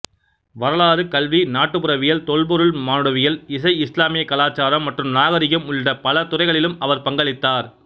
வரலாறு கல்வி நாட்டுப்புறவியல் தொல்பொருள் மானுடவியல் இசை இஸ்லாமிய கலாச்சாரம் மற்றும் நாகரிகம் உள்ளிட்ட பல துறைகளிலும் அவர் பங்களித்தார்